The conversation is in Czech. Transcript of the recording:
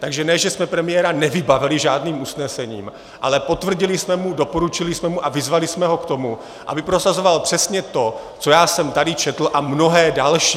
Takže ne že jsme premiéra nevybavili žádným usnesením, ale potvrdili jsme mu, doporučili jsme mu a vyzvali jsme ho k tomu, aby prosazoval přesně to, co já jsem tady četl, a mnohé další.